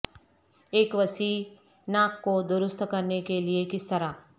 ایک وسیع ناک کو درست کرنے کے لئے کس طرح